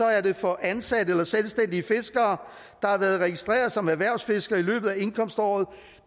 er det for ansatte eller selvstændige fiskere der har været registreret som erhvervsfiskere i løbet af indkomståret